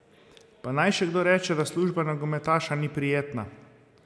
Pa naj še kdo reče, da služba nogometaša ni prijetna!